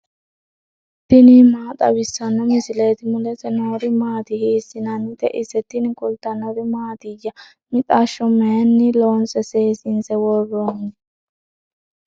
tini maa xawissanno misileeti ? mulese noori maati ? hiissinannite ise ? tini kultannori mattiya? mixashsho mayiinni loonse seessinse woroonni?